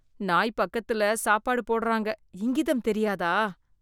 நாய் பக்கதுல சாப்பாடு போடறாங்க. இங்கிதம் தெரியாதா